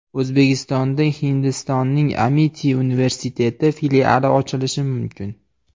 O‘zbekistonda Hindistonning Amiti universiteti filiali ochilishi mumkin.